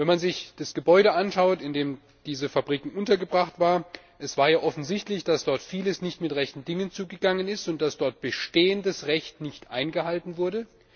Wenn man sich das Gebäude anschaut, in dem diese Fabrik untergebracht war, war es ja offensichtlich, dass dort vieles nicht mit rechten Dingen zugegangen ist und dass dort bestehendes Recht nicht eingehalten wurde.